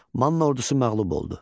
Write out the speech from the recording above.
Manna ordusu məğlub oldu.